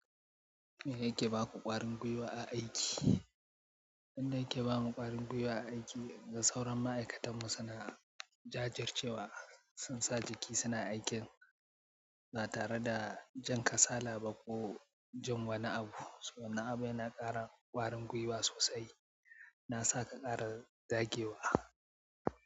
Mi yake baku ƙwarin gwiwa a aiki? Abinda yake bamu ƙwarin gwiwa a aiki, inga sauran ma'aikatan mu suna jajircewa, sun sa jiki suna aikin, ba tare da jin kasala ba ko jin wa ni abu. To wannan abun yana ƙara ƙwarin gwiwa sosai, na sa ka ƙara zagewa.